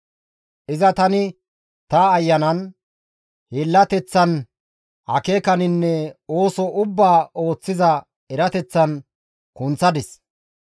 Iza tani ta Ayanan; hiillateththan, akeekaninne ooso ubbaa ooththiza erateththan kunththadis.